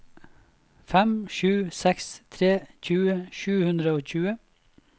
fem sju seks tre tjue sju hundre og tjue